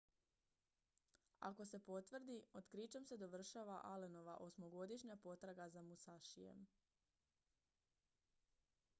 ako se potvrdi otkrićem se dovršava allenova osmogodišnja potraga za musashijem